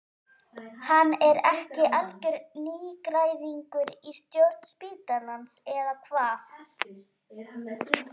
Hann er ekki algjör nýgræðingur í stjórn spítalans eða hvað?